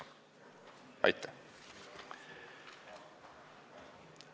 Aitäh!